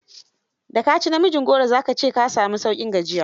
Da ka ci namijin goro, za ka ce ka sami sauƙin gajiya.